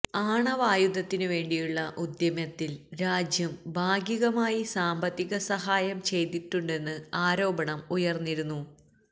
നന്റെ ആണവായുധത്തിനു വേണ്ടിയുള്ള ഉദ്യമത്തിൽ രാജ്യം ഭാഗികമായി സാമ്പത്തിക സഹായം ചെയ്തിട്ടുണ്ടെന്ന് ആരോപണം ഉയർന്നിരുന്നു